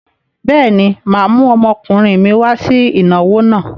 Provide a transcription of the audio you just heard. Bẹ́ẹ̀ni, mà á mú ọmọkùnrin mi wá sí ìnáwó náà.